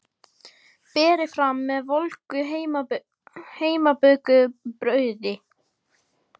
Berið fram með volgu heimabökuðu brauði.